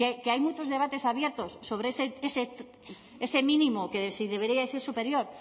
que hay muchos debates abiertos sobre ese mínimo que si debería ser superior